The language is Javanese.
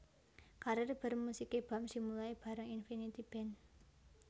Karir bermusiké Bams dimulai bareng Infinity Band